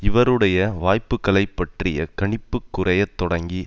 இவருடைய வாய்ப்புக்களைப் பற்றிய கணிப்பு குறைய தொடங்கி